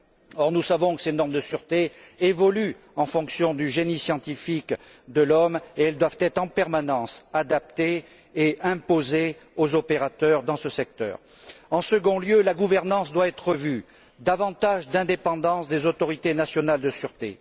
Or, nous savons que ces normes de sûreté évoluent en fonction du génie scientifique de l'homme et qu'elles doivent être en permanence adaptées et imposées aux opérateurs dans ce secteur. En second lieu, la gouvernance doit être revue de sorte à accorder davantage d'indépendance aux autorités nationales de sûreté.